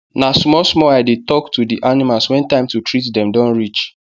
na small small i dey tok to the animals wen time to treat dem don reach